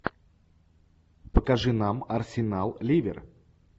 покажи нам арсенал ливер